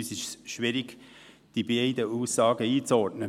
Für uns ist es relativ schwierig, die beiden Aussagen einzuordnen.